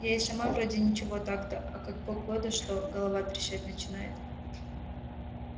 я и сама вроде ничего так-то а как погода что голова трещать начинает